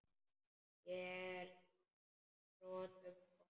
Ég er að þrotum kominn.